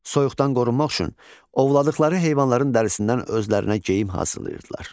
Soyuqdan qorunmaq üçün ovladıqları heyvanların dərisindən özlərinə geyim hazırlayırdılar.